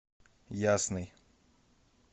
ясный